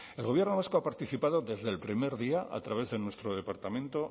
el gobierno vasco ha participado desde el primer día a través de nuestro departamento